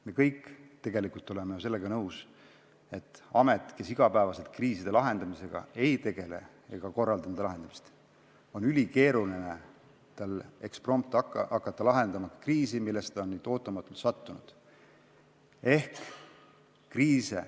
Me kõik oleme tegelikult sellega nõus, et ametil, kes igapäevaselt kriiside lahendamisega ei tegele ja nende lahendamist ei korralda, on ülikeeruline hakata eksprompt lahendama kriisi, millesse ta on ootamatult sattunud.